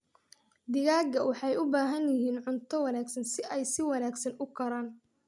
Digaagga waxay u baahan yihiin cunto wanaagsan si ay si wanaagsan u koraan.